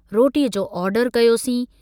रोटीअ जो आर्डर कयोसीं।